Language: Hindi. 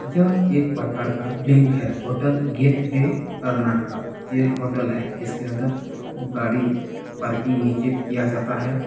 यह एक प्रकार का बैंक है होटल गेट वे कर्नाटका ये होटल है जिसके अन्दर गाड़ी पार्किंग नीचे किया जाता है।